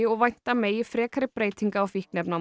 og vænta megi frekari breytinga á